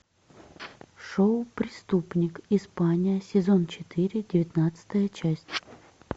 шоу преступник испания сезон четыре девятнадцатая часть